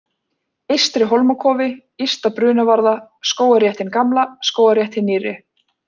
Eystri-Hólmakofi, Ysta-Brunavarða, Skógarrétt hin gamla, Skógarrétt hin nýrri